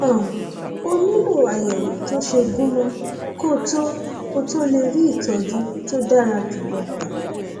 um o nílò àyẹwò tó ṣe gúnmọ kó o tó o tó lè rí ìtọjú tó dára jùlọ gbà